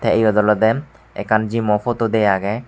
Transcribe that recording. eyot olode ekan gym mo photo de aage.